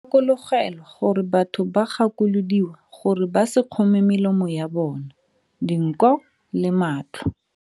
Gakologelwa gore batho ba gakolodiwa gore ba se kgome melomo ya bona, dinko le matlho.